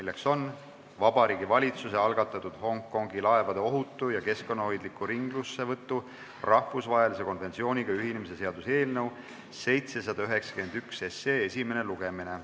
See on Vabariigi Valitsuse algatatud Hongkongi laevade ohutu ja keskkonnahoidliku ringlussevõtu rahvusvahelise konventsiooniga ühinemise seaduse eelnõu 791 esimene lugemine.